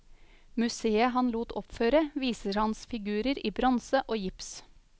Museet han lot oppføre, viser hans figurer i bronse og gips.